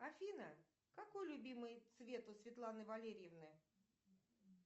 афина какой любимый цвет у светланы валерьевны